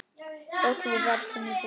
Öll við verslum í búð.